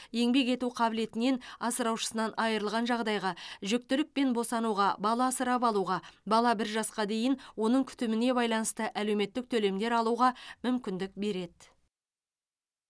еңбек ету қабілетінен асыраушысынан айырылған жағдайға жүктілік пен босануға бала асырап алуға бала бір жасқа дейін оның күтіміне байланысты әлеуметтік төлемдер алуға мүмкіндік береді